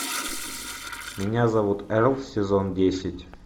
меня зовут эрл сезон десять